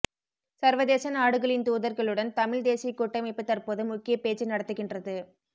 சர்வதேச நாடுகளின் தூதர்களுடன் தமிழ் தேசிய கூட்டமைப்பு தற்போது முக்கிய பேச்சு நடத்துகின்றது